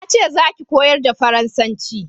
Na ce za ki koyar da faransanci!